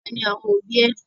Awa ni àwọn òbí ẹ.